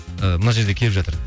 ыыы мына жерде келіп жатыр